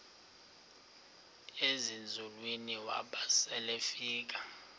ezinzulwini waba selefika